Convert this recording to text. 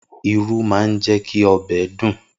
Irú máa ń jẹ́ kí ọbẹ̀ dùn.